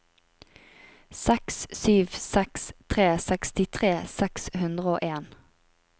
seks sju seks tre sekstitre seks hundre og en